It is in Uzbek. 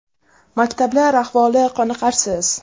Maktablar ahvoli qoniqarsiz.